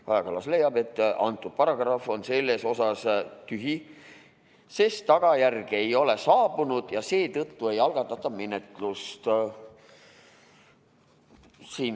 Kaja Kallas leiab, et antud paragrahv on selles osas tühi, sest tagajärge ei ole saabunud ja seetõttu ei algatata menetlust.